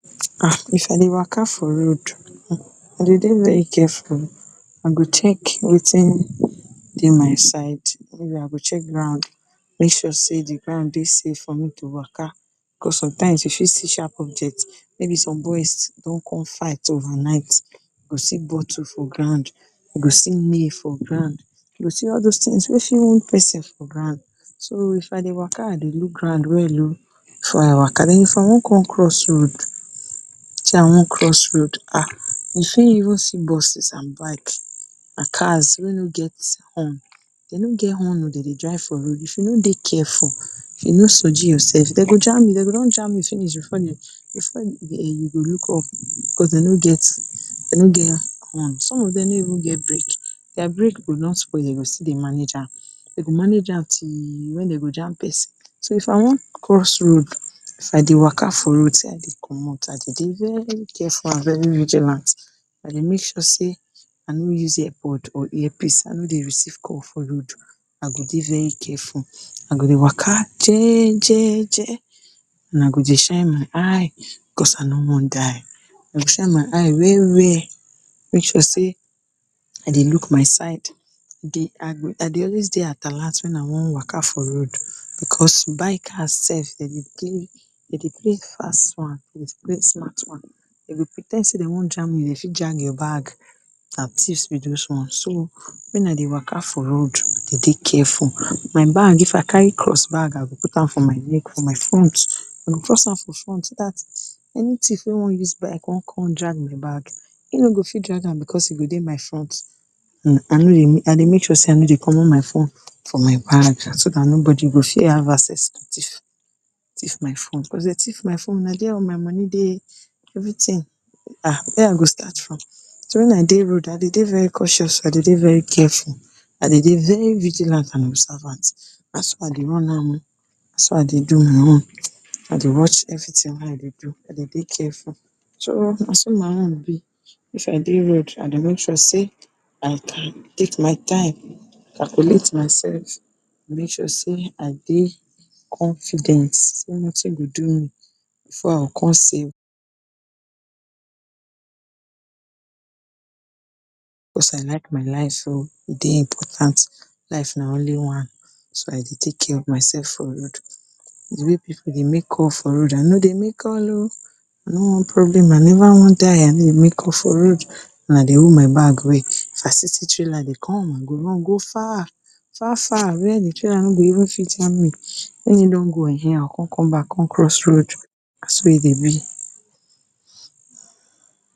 um if I dey waka for road, I dey dey very careful o. I go check wetin dey my side I go check ground make sure sey de ground dey safe to waka because sometimes you fit see sharp objects, maybe some boys don con fight overnight. You go see bottle for ground, you go see nail for ground, you go see all those things wey fit wound pesin for ground. So, if I dey waka I dey look ground well o before I waka. Den if I wan con cross road, sey I wan cross road [um, you fit even see buses and bikes and cars wey no get horn. Dem no get horn o, dem dey drive for road, if you no dey careful, if you know soji yourself dem go jam you. Dem go don jam you finish before you, before you look up. Because dem no get, dem no get horn. Some of dem no even get brake, their brake go don spoil but dem go still dey manage am. Dem go manage am till wen dem go jam pesin. So, if I wan cross road, if I dey waka for road side dey commot i dey dey very careful and very vigilant. I dey make sure sey I no use air pod or earpiece I no dey receive call for road. I go dey very careful, I go dey waka jejeje and I go dey shine my eye because I no wan die. I go shine my eye well-well. Make sure sey I dey look my side, I dey always dey at alert wen I wan waka for road because bikers sef dem dey play fast one with great smart one. Dem go pre ten d sey dem wan jam you, dey fit drag your bag. Na thieves be those ones. So, wen I dey waka for road I dey dey careful. My bag, if I carry cross bag I put am for my neck for my front, I go am for front so dat any thief wey wan use bike wan con drag de bag, e no go fit drag am because e go dey my front. And I dey make sure sey I no dey commot my phone so dat nobody go fit have access to thief, thief my phone. Because if dey thief my phone na their all my Moni dey, everything um where I wan start from, so wen I dey road I dey dey very cautious, I dey dey very careful, I dey dey very vigilant and observant. Na so I dey run am o. Na so I dey do my own. I dey watch everything wey I dey do, I dey dey careful. So na so my own be. If I dey road I dey make sure sey like I take my time, I calculate myself make sure sey I dey confident sey nothing dey do me before I go con sey because I like my life so e dey important. Life na only one so I dey take care of myself for road. Because de way pipu dey make calls for road I no dey make call o. I no want problem I never wan die, I no dey make call for road. And I dey hold my bag well. So If I fit see trailer dey come I dey run go far far-far. Where de trailer no go fit even jam me. Wen e don go um I go con come back con cross road na so e dey be.